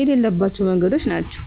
የሌለባቸው መንገዶች ናቸው።